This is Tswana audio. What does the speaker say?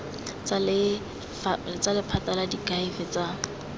tsa lephata la diakhaefe tsa